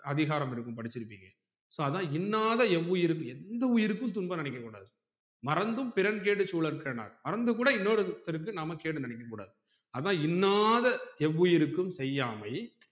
அதிகாரம் இருக்கும் படிச்சிருப்பீங்க so இன்னாத எவ்வுயிருக்கும் எந்த உயிருக்கும் துன்பம் நெனைக்க கூடாது மறந்து பிரெண் கேடு சூலர்கனார் மறந்து கூட இன்னொருத்தர்க்கு நாம கேடு நெனைக்க கூடாது அதான் இன்னாத எவ்வுயிருக்கும் செய்யாமை